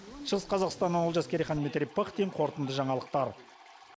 шығыс қазақстаннан олжас керейхан дмитрий пыхтин қорытынды жаңалықтар